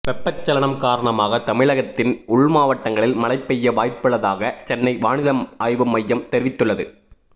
வெப்பச்சலனம் காரணமாக தமிழகத்தின் உள்மாவட்டங்களில் மழை பெய்ய வாய்ப்புள்ளதாக சென்னை வானிலை ஆய்வு மையம் தெரிவித்துள்ளது